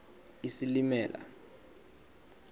isilimela